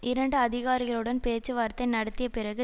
இரண்டு அதிகாரிகளுடன் பேச்சு வார்த்தை நடத்தியபிறகு